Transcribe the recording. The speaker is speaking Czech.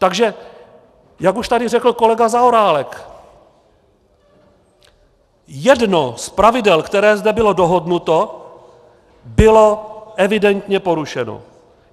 Takže jak už tady řekl kolega Zaorálek, jedno z pravidel, které zde bylo dohodnuto, bylo evidentně porušeno.